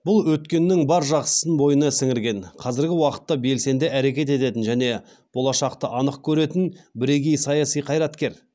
бұл өткеннің бар жақсысын бойына сіңірген қазіргі уақытта белсенді әрекет ететін және болашақты анық көретін бірегей саяси қайраткер